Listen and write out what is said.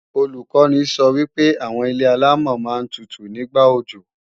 Olùkọ́ni sọ wípé àwọn ilé-àlámọ̀ máa ń tutù ní ìgbà òjò